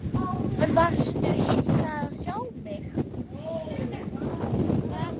Varstu hissa að sjá mig?